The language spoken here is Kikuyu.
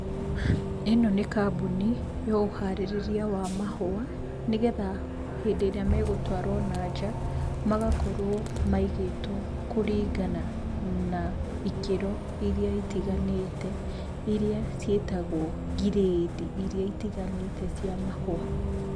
Ĩno nĩ kambuni ya ũharĩrĩria wa mahũa, nĩ getha hĩndĩ ĩrĩa megũtwarwo na nja magakorwo maigĩtwo kũringana na ikĩro iria itiganĩte, iria ciĩtagwo ngirĩndi iria itiganĩte cia mahũa.